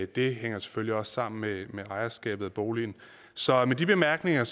det hænger selvfølgelig også sammen med ejerskabet af boligen så med de bemærkninger